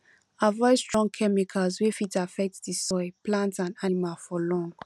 avoid strong chemicals wey fit affect the soil plant and animal for long